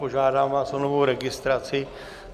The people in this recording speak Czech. Požádám vás o novou registraci.